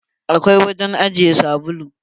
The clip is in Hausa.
Akwai wurin ajiye sabulu.